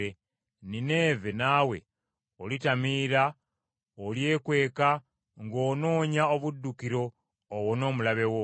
Nineeve naawe olitamiira, olyekweka ng’onoonya obuddukiro owone omulabe wo.